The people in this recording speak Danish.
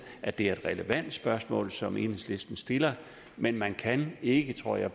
at det er et relevant spørgsmål som enhedslisten stiller men man kan ikke tror jeg